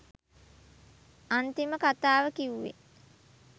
අන්තිම කතාව කිව්වෙ